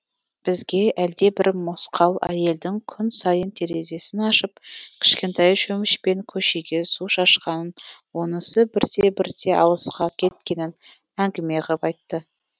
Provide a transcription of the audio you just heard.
бізге әлдебір мосқал әйелдің күн сайын терезесін ашып кішкентай шөмішпен көшеге су шашқанын онысы бірте бірте алысқа кеткенін әңгіме ғып айтты